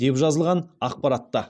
деп жазылған ақпаратта